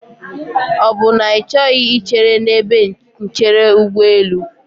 Ọ bụ na Ị chọghị ichere n'ebe nchere ụgbọelụ?